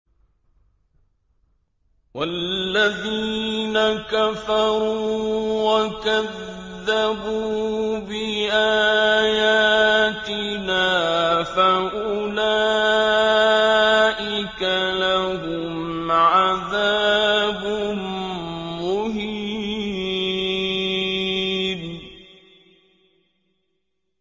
وَالَّذِينَ كَفَرُوا وَكَذَّبُوا بِآيَاتِنَا فَأُولَٰئِكَ لَهُمْ عَذَابٌ مُّهِينٌ